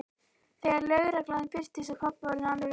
Þegar lögreglan birtist var pabbi orðinn alveg rólegur.